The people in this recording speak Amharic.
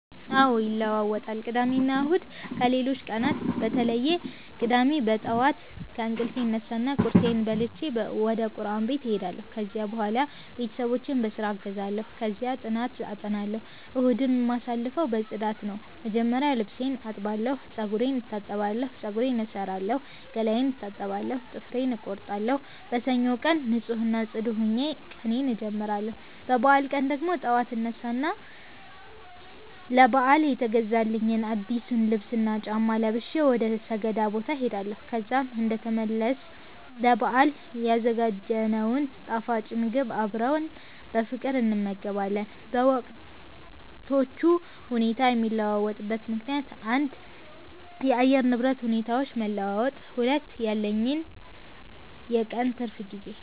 አዎ ይለዋወጣል ቅዳሜና እሁድ ከሌሎቹ ቀናት በተለየ ቅዳሜ በጠዋት ከእንቅልፌ እነሳና ቁርሴን በልቼ ወደቁርአን ቤት እሄዳለሁ፤ ከዚያም በኋላ ቤተሰቦቼን በስራ አግዛለሁ፣ ከዚያ ጥናት አጠናለሁ። እሁድን የማሳልፈው በፅዳት ነው፣ መጀመሪያ ልብሴን አጥባለሁ፤ ጸጉሬን እታጠባለሁ፤ ፀጉሬን እሠራለሁ፣ ገላዬን እታጠባለሁ፣ ጥፍሬን እቆርጣለሁ። በሰኞው ቀን ንፁህ እና ጽዱ ሆኜ ቀኔን አጀምራለሁ። በበዓል ቀን ደግሞ ጠዋት አነሳ እና ለበዓል የተገዛልኝን አዲሱን ልብስና ጫማ ለብሼ ወደ ሰገዳ ቦታ እሄዳለሁ። ከዛም እንደተመለስ ለበአል ያዘጋጀነውን ጣፋጭ ምግብ አብረን በፍቅር እንመገባለን። በወቅቶቹ ሁኔታ የሚለዋወጥበት ምከንያት 1. የአየር ንብረት ሁኔታዎች መለዋወጥ 2. ያለኝ የቀን ትርፍ ጊዜ